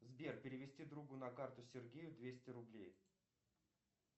сбер перевести другу на карту сергею двести рублей